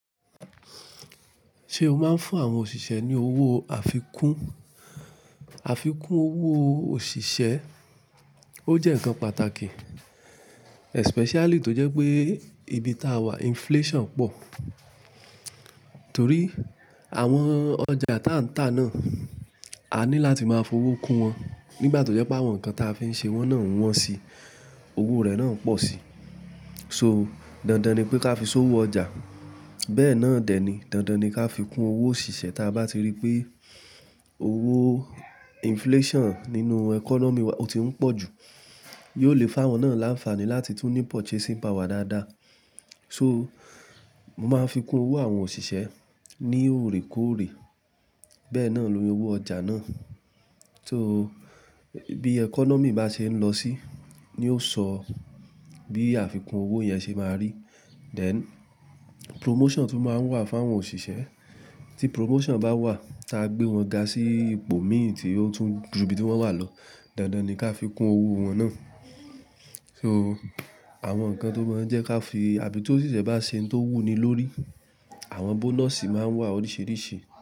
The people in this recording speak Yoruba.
Ṣé o máa ń fún àwọn òṣìṣẹ́ ní owó àfikún? Àfikún owó òṣìṣẹ́, ó jẹ́ ǹkan pàtàkì especially tó jẹ́ pé ibi táa wà inflation pọ̀. Torí àwọn ọjà táa ń tà náà, a ní láti máa fowó kun wọn. Nígbà tó jẹ́ pé àwọn ǹkan táa fi ń ṣe wọ́n náà ń wọ́n si, owó rẹ̀ náà ń pọ̀ si. So, dandan ni pé ká fi sowo ọjà. Bẹ́ẹ̀ náà dẹ̀ ni, dandan ni ká fi kún owó òṣìṣẹ́ táa bá ti rí pé owó inflation nínú economy wa ó ti ń pọ̀ jù. Yóò lè fáwọn náà láǹfààní láti tún ní purchasing power dáadáa. So, mo máa ń fi kún owó àwọn òṣìṣẹ́ ní òrèkóòrè. Bẹ́ẹ̀ náà ló rí owó ọjà náà. So, bí economy bá ṣe ń lọ sí, ni ó sọ bí àfikún owó yẹn ṣe máa rí. Then promotion tún máa ń wà fún àwọn òṣìṣẹ́. Tí promotion bá wà, táa gbé wọn ga sí ipò mìíràn tí ó tún ju ibi tí wọ́n wà lọ, dandan ni ká fi kún owó wọn náà. So, àwọn ǹkan tó mọ̀ọ́ jẹ́ ká fi, àbí tó òṣìṣẹ́ bá ṣe ń to wù ni lórí, àwọn bonus máa ń wà oríṣìíríṣìí.